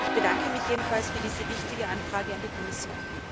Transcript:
Ich bedanke mich jedenfalls für diese wichtige Anfrage an die Kommission.